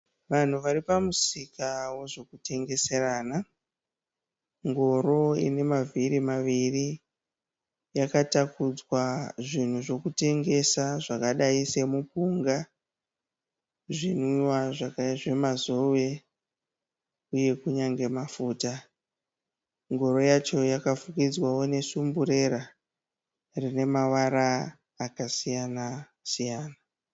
Vanhu vari pamusika wozvokutengeserana. Ngoro ine mavhiri maviri yakatakudzwa zvinhu zvekutengesa zvakadai semupunga, zvinwiwa zvemazowe uye kunyange mafuta. Ngoro yacho yakafukidzwawo nesumburera rine mavara akasiyana siyana.